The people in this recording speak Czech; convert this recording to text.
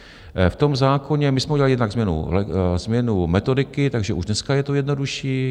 V tom zákoně my jsme udělali jednak změnu metodiky, takže už dneska je to jednodušší.